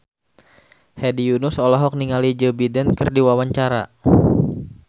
Hedi Yunus olohok ningali Joe Biden keur diwawancara